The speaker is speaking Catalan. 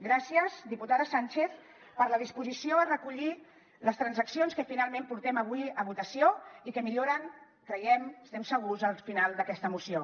gràcies diputada sànchez per la disposició a recollir les transaccions que finalment portem avui a votació i que milloren creiem n’estem segurs el final d’aquesta moció